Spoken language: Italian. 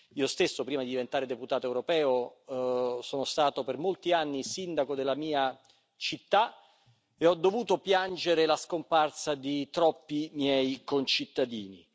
Io stesso, prima di diventare deputato europeo, sono stato per molti anni sindaco della mia città e ho dovuto piangere la scomparsa di troppi miei concittadini.